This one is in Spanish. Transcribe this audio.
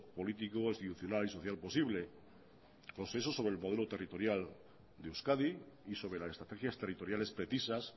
político institucional y social posible consenso sobre el modelo territorial de euskadi y sobre las estrategias territoriales precisas